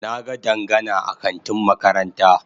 Na ga Dangana a kantin makaranta.